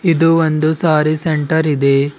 ಇದು ಒಂದು ಸಾರಿ ಸೆಂಟರ್ ಇದೆ.